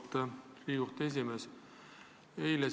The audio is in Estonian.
Auväärt Riigikohtu esimees!